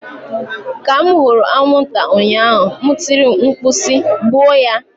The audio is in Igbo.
Ka m hụrụ anwụnta ụnyaahụ m tiri mkpu si "gbuo ya!"